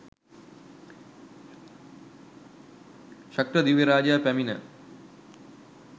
ශක්‍ර දිව්‍ය රාජයා පැමිණ